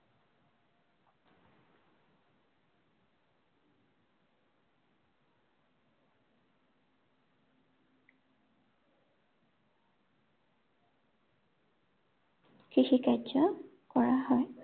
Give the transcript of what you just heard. কৃষি কাৰ্য কৰা হয়।